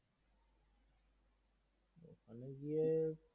গিয়ে